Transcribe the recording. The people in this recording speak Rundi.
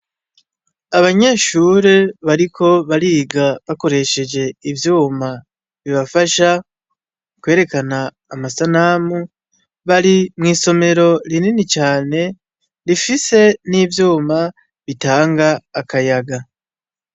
Abanyeshure bariko bariga bakoresheje ivyuma bibafasha kwerekana ama sanamu bari mw'isomero rinini cane rifise n'ivyuma bitanga akayaga.